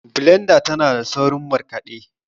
blendar tana saurin markaɗe